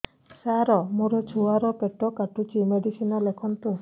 ସାର ମୋର ଛୁଆ ର ପେଟ କାଟୁଚି ମେଡିସିନ ଲେଖନ୍ତୁ